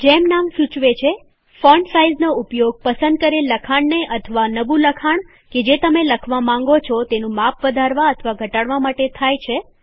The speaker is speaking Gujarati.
જેમ નામ સૂચવે છે ફોન્ટ સાઈઝનો ઉપયોગ પસંદ કરેલ લખાણ ને અથવા નવું લખાણ કે જે તમે લખવા માંગો છો તેનું માપ વધારવા અથવા ઘટાડવા માટે થાય છે